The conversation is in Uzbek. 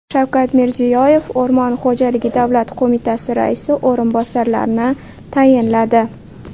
Shavkat Mirziyoyev O‘rmon xo‘jaligi davlat qo‘mitasi raisi o‘rinbosarlarini tayinladi.